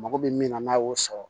Mako bɛ min na n'a y'o sɔrɔ